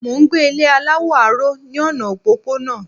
Mò n gbé Ilé aláwọ̀ aró ní ọ̀nà òpópónà